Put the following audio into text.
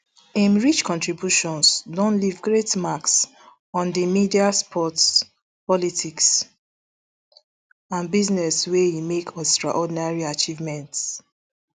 im rich contributions don leave great marks on di media sports politics and business wia e make extraordinary achievements